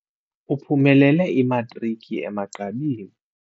Uphumelele imatriki emagqabini.